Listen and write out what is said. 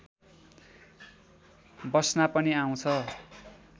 बस्ना पनि आउँछ